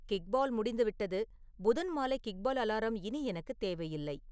kickball முடிந்துவிட்டது புதன் மாலை கிக்பால் அலாரம் இனி எனக்கு தேவையில்லை